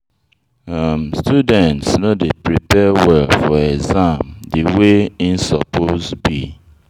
um Student no dey prepare well for exam de way im suppose be.